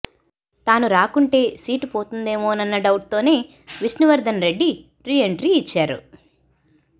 తాను రాకుంటే సీటు పోతుందేమో నన్న డౌట్ తోనే విష్ణు వర్ధన్ రెడ్డి రీ ఎంట్రీ ఇచ్చారు